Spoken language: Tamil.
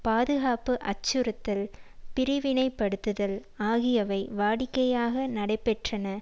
பாதுகாப்பு அச்சுறுத்தல் பிரிவினைப்படுத்துதல் ஆகியவை வாடிக்கையாக நடைபெற்றன